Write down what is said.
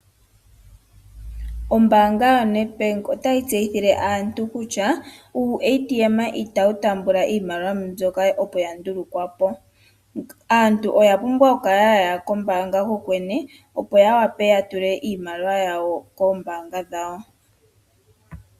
Ombaanga yaNEDBANK otayi tseyithile aantu kutya, Uushina itawu tambula iimaliwa mbyoka opo yandulukwapo. Aantu oya pumbwa okuya kombaanga yoyene, opo yawape yatule iimaliwa yawo komayalulilo gawo gombaanga.